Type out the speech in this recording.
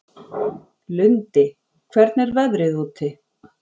Lundi, hvernig er veðrið úti?